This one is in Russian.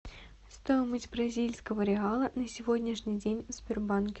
стоимость бразильского реала на сегодняшний день в сбербанке